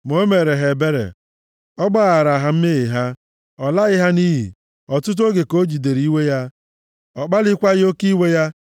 Ma o meere ha ebere. Ọ gbaghara ha mmehie ha. Ọ laghị ha nʼiyi. Ọtụtụ oge ka o jidere iwe ya. Ọ kpalịkwaghị oke iwe ya.